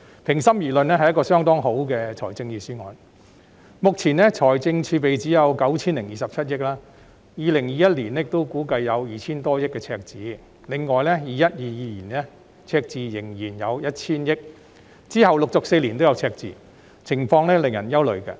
目前，本港只有 9,027 億元財政儲備，而赤字估計在2021年仍會有 2,000 多億元，在 2021-2022 年度則仍然會有 1,000 億元，並且往後4年也會有赤字，情況令人憂慮。